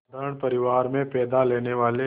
साधारण परिवार में पैदा लेने वाले